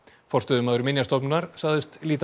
forstöðumaður Minjastofnunar sagðist líta